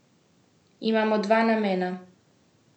Imamo dva namena.